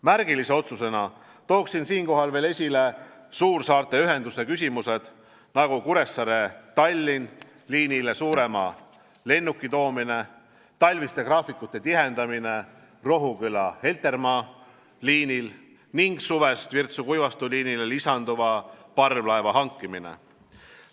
Märgilise otsusena tooksin siinkohal veel esile suursaarte ühenduse küsimused, nagu Kuressaare–Tallinna liinile suurema lennuki toomine, talviste graafikute tihendamine Rohuküla–Heltermaa liinil ning suvest Virtsu–Kuivastu liinile lisanduva parvlaeva hankimine.